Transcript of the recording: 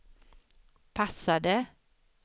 passade